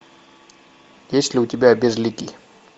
есть ли у тебя безликий